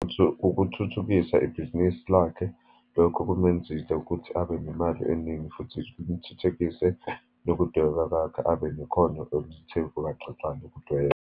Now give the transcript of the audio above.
Ukuthuthukisa ibhizinisi lakhe. Lokho kumenzisa ukuthi abe nemali eningi, futhi kuthuthukise nokudweba kwakhe, abe nekhono oluthe ukubaxaxa lokudweba.